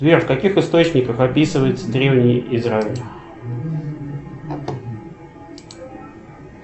сбер в каких источниках описывается древний израиль